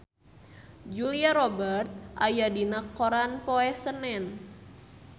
Julia Robert aya dina koran poe Senen